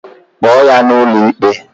Kpoo ya n'ụlọikpe!